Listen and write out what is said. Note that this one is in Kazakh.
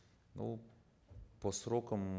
ну по срокам